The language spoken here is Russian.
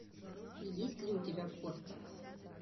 есть ли у тебя кортик